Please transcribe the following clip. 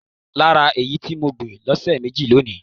Lára èyí tí mo gbìn lọ́sẹ̀ méjì lọ ni.